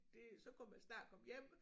Det så kunne man snart komme hjem